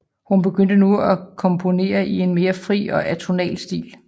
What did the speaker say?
Hun begyndte nu at komponere i en mere fri og atonal stil